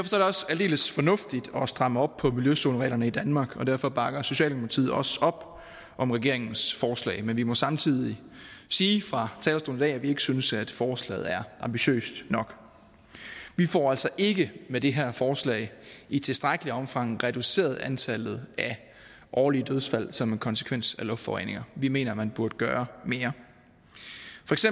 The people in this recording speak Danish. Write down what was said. aldeles fornuftigt at stramme op på miljøzonereglerne i danmark og derfor bakker socialdemokratiet også op om regeringens forslag men vi må samtidig sige fra talerstolen at vi ikke synes at forslaget er ambitiøst nok vi får altså ikke med det her forslag i tilstrækkeligt omfang reduceret antallet af årlige dødsfald som en konsekvens af luftforurening vi mener at man burde gøre